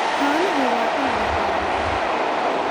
Xooluhu waa il dhaqaale.